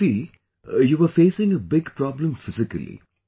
Pragati, you were facing a big problem physically